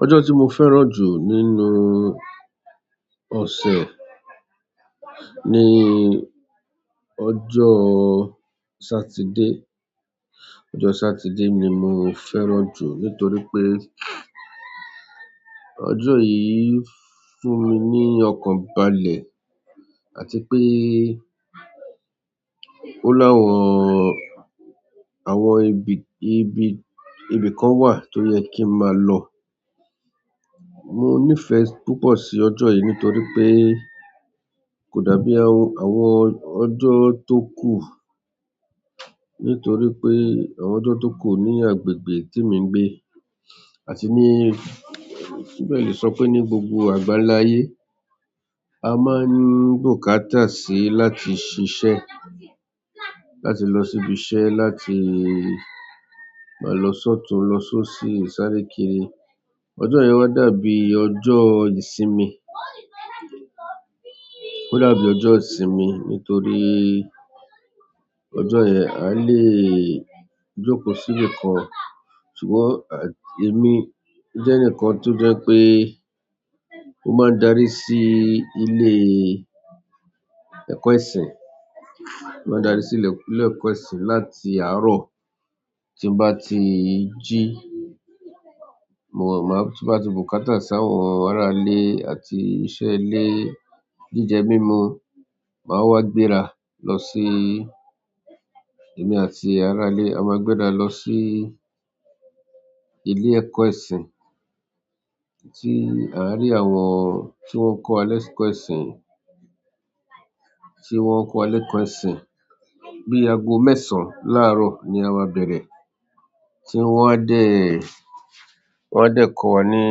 Ọjọ́ tí mo fẹ́ràn jù nínú ọ̀sẹ̀ ni ọjọ́ Saturday. Ọjọ́ Saturday ni mo fẹ́ràn jù nítorí pé ọjọ́ yìí fún mi ní ọkàn balẹ̀ àti pé ó láwọn, àwọn ibi, ibi, ibi kan wà tó yẹ kí n máa lọ. Mo nífẹ̀ẹ́ púpọ̀ sí ọjọ́ yìí nítorí pé kò dàbí àwọn, àwọn ọjọ́ tó kù. Nítorí pé àwọn ọjọ́ tó kù ní agbègbè témi ń gbé àti ní, mo fẹ́ẹ̀ lè sọ pé ní gbogbo àgbáńlá ayé, a máa ń bùkátà síi láti ṣiṣẹ́, láti lọ síbi iṣẹ́, láti máa lọ sọ́tùn-ún lọ sósì sáré kiri. Ọjọ́ yẹn wá dàbí ọjọ́ ìsinmi. Ó dàbí ọjọ́ ìsinmi nítorí ọjọ́ yẹn àá lè jókòó síbi kan. Ṣùgbọ́n èmi jẹ́ ẹnìkan tó jẹ́ pé mo máa ń darí sí ilé ẹ̀kọ́ ẹ̀sìn. Mo máa darí sí ilé, ilé ẹ̀kọ́ ẹ̀sìn láti àárọ̀ tí n bá ti jí. Mo máa, tí mo bá ti bùkátà sí àwọn aráalé àti iṣẹ́ ilé jíjẹ mímú, màá wá gbéra lọ sí, èmi àti aráalé, a máa gbéra lọ sí ilé ẹ̀kọ́ ẹ̀sìn tí àá rí àwọn tí wọ́n ń kọ́ wa lẹ́kọ̀ọ́ ẹ̀sìn, tí wọ́n ń kọ́ ẹlẹ́ṣọ̀ ẹ̀sìn. Bí i aago mẹ́sàn-án láàárọ̀ ni a máa bẹ̀rẹ̀ tí wọ́n á dẹ̀, wọ́n á dẹ̀ kọ́ wa ní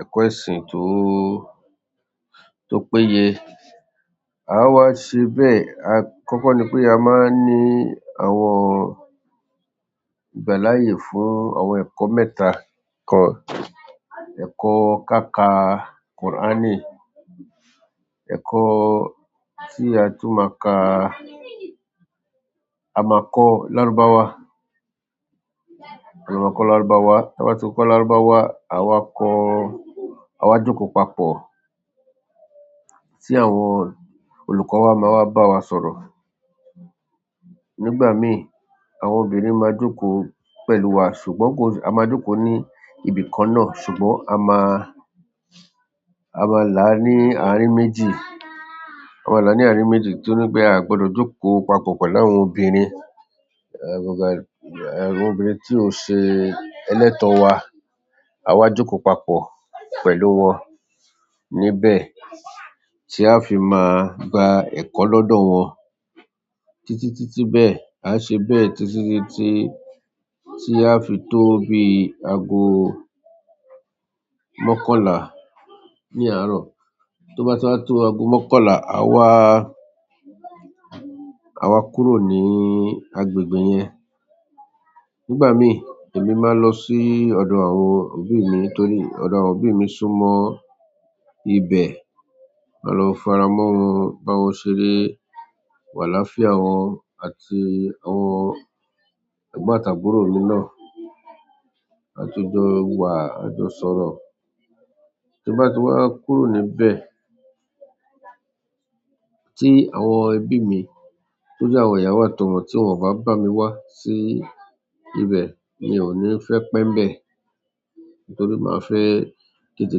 ẹ̀kọ́ ẹ̀sìn tó, tó péye. A wá ṣe bẹ́ẹ̀. A-- kọ́kọ́ ni pé a máa ní àwọn ìgbáláàyé fún àwọn ẹ̀kọ́ mẹ́ta kan. Ẹ̀kọ́ ká k Kùránì, ẹ̀kọ́ tí a tú máa ka amọ̀kọ lároba wa. A máa kọ́ Lárúbáwá. Táa bá ti kọ́ Lárúbáwá, àá wá kọ́, àá wá jókòó papọ̀, tí àwọn olùkọ́ wa máa wá bá wa sọ̀rọ̀. Nígbà míì, àwọn obìnrin máa jókòó pẹ̀lú wa. Ṣùgbọ́n kò, a máa jókòó ní ibi kan náà. Ṣùgbọ́n a máa, a máa là ní àárín méjì. A máa làá ní àárín méjì torí pé aà gbọdọ̀ jókòó papọ̀ pẹ̀lú àwọn obìnrin. Ẹ̀, àwọn obìnrin tí ó ṣe ẹlẹ́tọ̀ wa. Àá wá jókòó papọ̀ pẹ̀lú wọn níbẹ̀ tí aá fi máa gba ẹ̀kọ́ lọ́dọ̀ wọn títí, títí bẹ́ẹ̀. Àá ṣe bẹ́ẹ̀ títí, títí tí a fi tó bí aago mọ́kànlá ní àárọ̀. Tó bá ti wá tó aago mọ́kànlá, àá wá, àá wá kúrò ní agbègbè yẹn. Nígbà míì, èmi máa ń lọ sí ọ̀dọ̀ àwọn òbí mi torí ọ̀dọ̀ àwọn òbí mi súnmọ́ ibẹ̀. Màá lọ fara mọ́ wọn, bá wọn ṣeré, w'àlàáfìá wọn àti àwọn ẹ̀gbọ́n àtàbúrò mináà. A ti jọ wà, a ti jọ sọ̀rọ̀. Tí n bá ti wá kúrò níbẹ̀ tí àwọn ẹbí mi tó jẹ́ àwọn ìyàwó àtọmọ tí wọ́n ò bá bá mi wá sí ibẹ̀, mi ò ní fẹ́ pẹ́ ńbẹ̀ nítorí màá fẹ́ tètè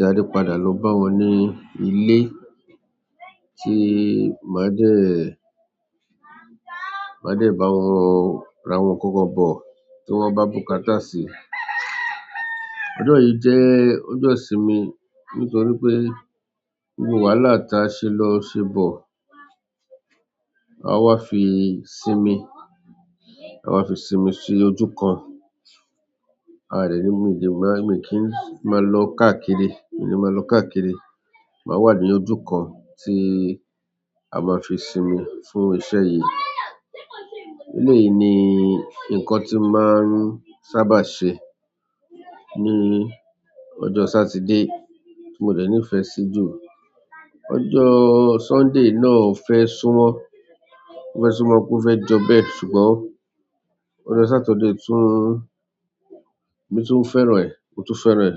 darí padà lọ bá wọn ní ilé tí màá dẹ̀, màá dẹ̀ bá wọn rà'wọn nǹkan kan bọ̀ tí wọ́n bá bùkátà sí. Ọjọ́ yìí jẹ́ ọjọ́ ìsinmi nítorí pé gbogbo wàhálà tí a ṣe lọ ṣe bọ̀, àá wá fi sinmi. Àá wá fi sinmi sí ojú kan. Aà dẹ̀ níbi méjì máa, èmi kì í máa lọ káàkiri. Èmi kì í máa lọ káàkiri. Màá wà ní ojú kan tí a máa fi sinmi fún iṣẹ́ yìí. Eléyìí ni nǹkan tí n màá ń sábà ṣe ní ọjọ́ Sátidé tí mo dẹ̀ nífẹ̀ẹ́ sí jù. Ọjọ́ Sunday náà ò fẹ́ súnmọ́, ò fẹ́ súnmọ́ kú fẹ́ jọ bẹ́ẹ̀. Ṣùgbọ́n ọjọ́ Saturday tún, èmi tún fẹ́ràn ẹ̀, mo tún fẹ́ràn ẹ̀.